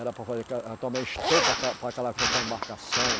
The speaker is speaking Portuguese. Era para fazer também estopa para calafetar a embarcação.